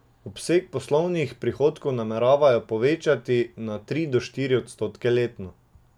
Obseg poslovnih prihodkov nameravajo povečevati za tri do štiri odstotke letno.